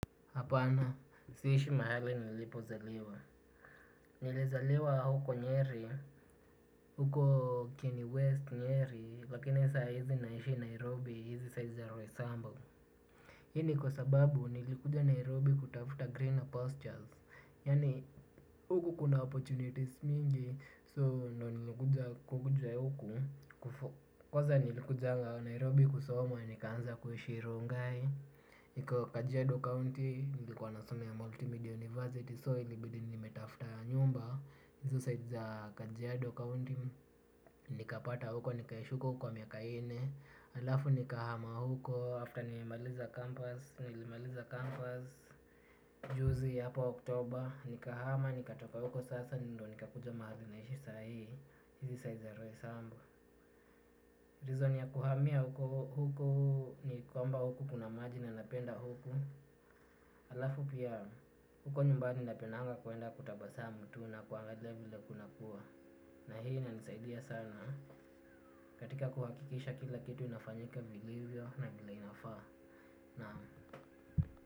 Hapana, siishi mahali nilipozaliwa. Nilizaliwa huko Nyeri, huko Kieni West Nyeri, lakini saa hizi naishi Nairobi, hizi sides za Roysambu. Hii ni kwa sababu nilikuja Nairobi kutafuta greener pastures. Yaani huku kuna opportunities mingi, so ndio nilikuja kukuja huku. Kwanza nilikujanga Nairobi kusoma, nikaanza kuishi Rongai. Iko Kajiado County nilikuwa nasomea Multimedia University, so ilibidi nimetafuta nyumba hizo sides za Kajiado County nikapata huko, nikaishi huko kwa miaka nne. Halafu nikahama huko after ni nimemaliza campus. Nilimaliza campus juzi hapo October, nikahama nikatoka huko sasa ndio nikakuja mahali nahishi sai, hiizi sides za Roysambu. Reason ya kuhamia huko, huku ni kwamba huko kuna maji na napenda huku. Halafu pia huko nyumbani napendanga kuenda kutabasamu tu na kuangalia vile kunakuwa. Na hii inanisaidia sana katika kuhakikisha kila kitu inafanyika vilivyo na vile inafaa, naam.